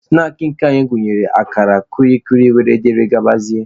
Snaakị nke anyị gụnyere akara, kwili kwili wdg.